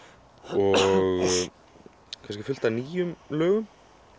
og kannski fullt af nýjum lögum